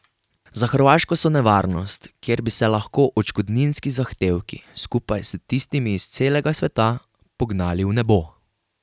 Za Hrvaško so nevarnost, ker bi se lahko odškodninski zahtevki, skupaj s tistimi iz celega sveta, pognali v nebo.